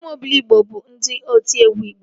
Ụmụ Obiligbo bụ ndị otiegwu igbo